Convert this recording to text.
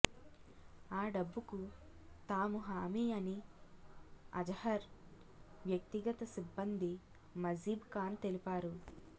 ఆ డబ్బుకు తాము హామీ అని అజహర్ వ్యక్తిగత సిబ్బంది మజీబ్ ఖాన్ తెలిపారు